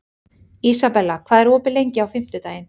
Ísabella, hvað er opið lengi á fimmtudaginn?